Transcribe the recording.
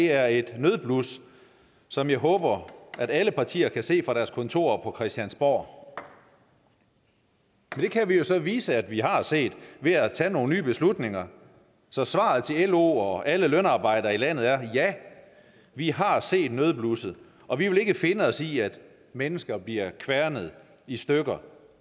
er et nødblus som jeg håber at alle partier kan se fra deres kontorer på christiansborg det kan vi jo så vise at vi har set ved at tage nogle nye beslutninger så svaret til lo og alle lønarbejdere i landet er ja vi har set nødblusset og vi vil ikke finde os i at mennesker bliver kværnet i stykker